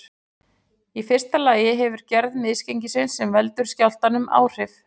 Í fyrsta lagi hefur gerð misgengisins sem veldur skjálftanum áhrif.